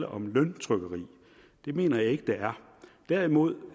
om løntrykkeri det mener jeg ikke der er derimod